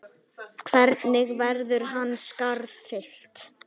Hvernig verður hans skarð fyllt?